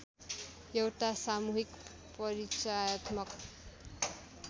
एउटा सामुहिक परिचायत्मक